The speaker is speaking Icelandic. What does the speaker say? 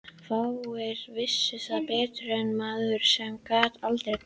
Fáir vissu það betur en maður sem gat aldrei gleymt.